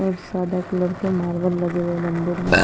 और सादा कलर के मार्बल लगे हुए हैं मंदिर में--